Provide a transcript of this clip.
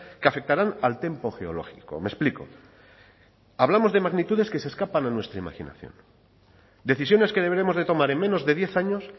que afectarán al tempo geológico me explico hablamos de magnitudes que se escapan a nuestra imaginación decisiones que deberemos de tomar en menos de diez años